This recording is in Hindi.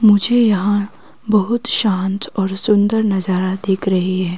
मुझे यहां बहोत शांत और सुंदर नजारा देख रहे हैं।